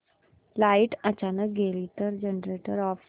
light अचानक गेली तर जनरेटर ऑफ कर